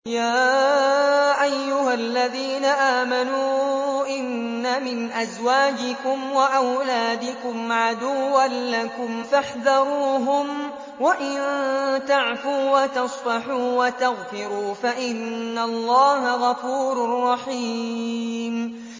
يَا أَيُّهَا الَّذِينَ آمَنُوا إِنَّ مِنْ أَزْوَاجِكُمْ وَأَوْلَادِكُمْ عَدُوًّا لَّكُمْ فَاحْذَرُوهُمْ ۚ وَإِن تَعْفُوا وَتَصْفَحُوا وَتَغْفِرُوا فَإِنَّ اللَّهَ غَفُورٌ رَّحِيمٌ